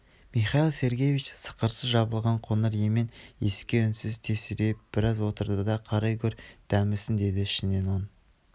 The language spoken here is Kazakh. михаил сергеевич сықырсыз жабылған қоңыр емен есікке үнсіз тесірейіп браз отырды да қарай гөр дәмесін деді ішінен оң